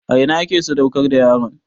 A ina ake sadaukar da yaron?